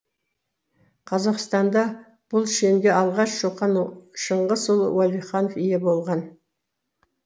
қазақстанда бұл шенге алғаш шоқан шыңғысұлы уәлиханов ие болған